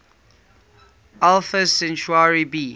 alpha centauri b